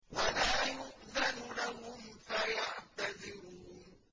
وَلَا يُؤْذَنُ لَهُمْ فَيَعْتَذِرُونَ